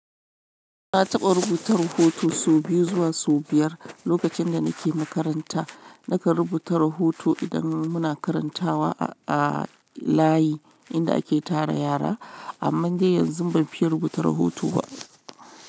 Na taɓa rubuta rahoto sau biyu zuwa sau biyar lokacin da nake makaranta. Nakan rubuta rahoto idan muna karantawa a layi inda ake tara yara. Amman dai yanzu ban fiye rubuta rahoto ba.